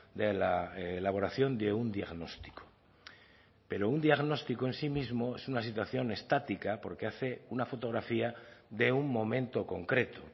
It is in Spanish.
de la elaboración de un diagnóstico pero un diagnóstico en sí mismo es una situación estática porque hace una fotografía de un momento concreto